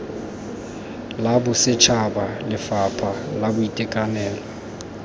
la bosetšhaba lefapha la boitekanelo